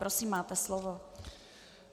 Prosím, máte slovo.